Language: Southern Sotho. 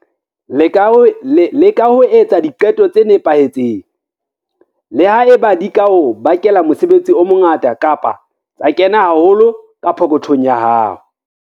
Leka ho etsa diqeto tse nepahetseng, le ha eba di ka o bakela mosebetsi o mongata kapa tsa kena haholo ka pokothong ya hao.